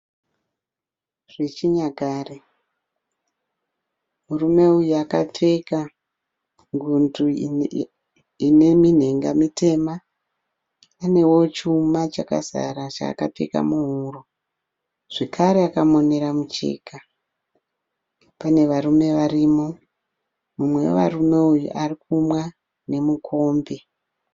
Zvechinyakare. Murume uyu akapfeka ngundu ine minhenga mitema Anewo chuma chakazara chaakapfeka muhuro. Zvekare akamonera mucheka. Pane varume varimo. Mumwe vevarume ayu ari kumwa nemukombe.